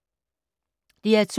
DR2